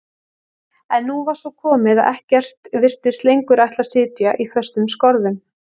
En nú var svo komið að ekkert virtist lengur ætla að sitja í föstum skorðum.